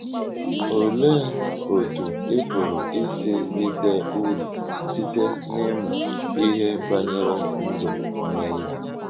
Olee otú ị pụrụ isi rite uru site n’ịmụ ihe banyere ndụ Meri?